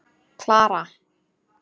Klara